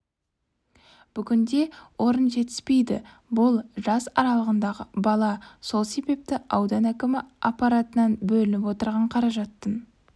бүгінде орын жетіспейді бұл жас аралығындағы бала сол себепті аудан әкімі аппаратынан бөлініп отырған қаражаттың